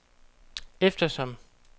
eftersom